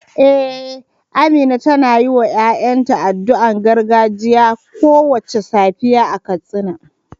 Eh, Amina tana yiwa ‘ya’yanta addu’o’in gargajiya kowace safiya a Katsina.